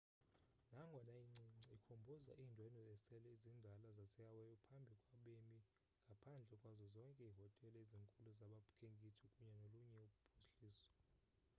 nangona incinci ikhumbuza iindwendwe esele zindala zasehawaii phambi kwabemi ngaphandle kwazo zonke iihotele ezinkulu zabakhenkethi kunye nolunye uphuhliso